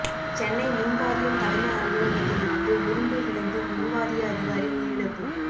சென்னை மின் வாரியம் தலைமை அலுவலகத்தில் இருந்து உருண்டு விழுந்து மின்வாரிய அதிகாரி உயிரிழப்பு